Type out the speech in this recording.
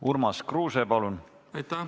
Urmas Kruuse, palun!